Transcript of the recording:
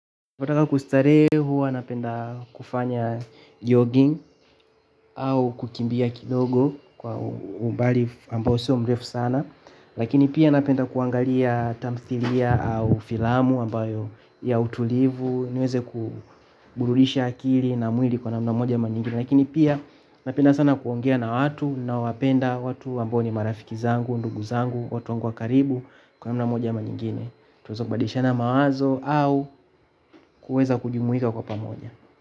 Wataka kustarehe huwa napenda kufanya jogging au kukimbia kidogo kwa umbali ambao sio mrefu sana lakini pia napenda kuangalia tamthilia au filamu ambayo ya utulivu, niweze kuburudisha akili na mwili kwa namna moja ama nyingine lakini pia napenda sana kuongea na watu nawapenda watu ambao ni marafiki zangu, ndugu zangu, watu wangu wa karibu kwa namna moja ama nyingine. Tunaweza badishana mawazo au kuweza kujimuika kwa pamoja.